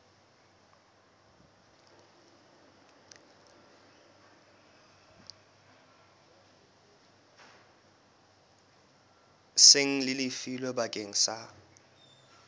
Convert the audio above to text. seng le lefilwe bakeng sa